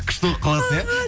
күшті болып қаласыз иә